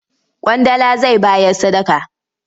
Ƙwandala zai bayar sadaka.